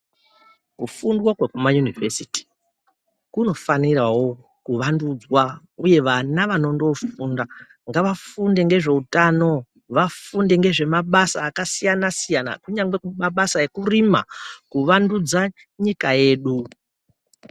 Kufunda kwekuma yunovhesiti kunofanirawo kuvandudzwa uye vana vanondoo funda ngava funde ngezveutano vafunde ngezve mabada akasiyana siyana kunyangwe mabasa ekurima kuvandudza nyika yedu .